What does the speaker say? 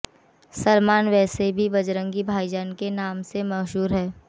सलमान वैसे भी बजरंगी भाईजान के नाम से मशहूर हैं